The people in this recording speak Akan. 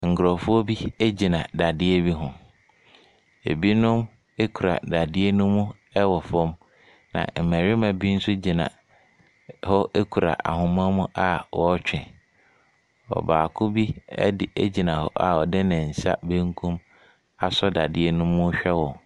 Nkurɔfoɔ bi gyina dadeɛ bi ho. Ɛbinom kura dadeɛ no mu wɔ fam, na mmarima bi nso gyina hɔ kura ahoma mu a wɔretwe. Ɔbaako bi de gyina hɔ a ɔde ne nsa benkum asɔ dadeɛ no mu rehwɛ wɔn.